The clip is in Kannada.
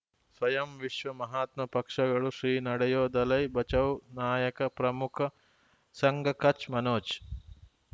ಸ್ವಯಂ ವಿಶ್ವ ಮಹಾತ್ಮ ಪಕ್ಷಗಳು ಶ್ರೀ ನಡೆಯೂ ದಲೈ ಬಚೌ ನಾಯಕ ಪ್ರಮುಖ ಸಂಘ ಕಚ್ ಮನೋಜ್